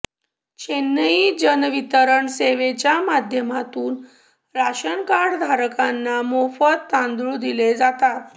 चेन्नई जन वितरण सेवेच्या माध्यमातून राशन कार्ड धारकांना मोफत तांदूळ दिले जातात